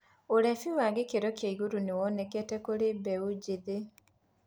ulefi wa gĩkĩro kĩa igũrũ nĩwonekanĩte kũrĩ mbeũ njĩthĩ